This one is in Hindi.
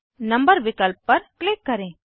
नंबर विकल्प पर क्लिक करें